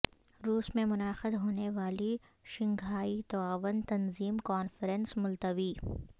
روس میں منعقد ہونے والی شنگھائی تعاون تنظیم کانفرنس ملتوی